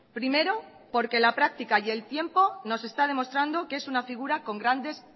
primero porque la práctica y el tiempo nos está demostrando que es una figura con grandes